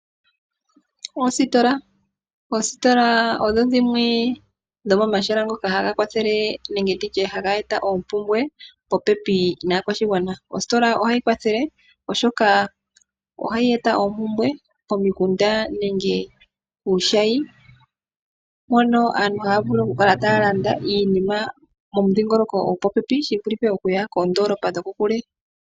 Oositola Oositola odho dhimwe dhomomahala ngoka haga kwathele nenge ndi tye haga eta omayakulo popepi naakwashigwana. Ositola ohayi kwathele oku eta oompumbwe pomikunda nenge kuushayi, mono aantu haya vulu okukala taya landa iinima momidhingoloko dhopopepi shi vulithe okuya koondoolopa dhokokule.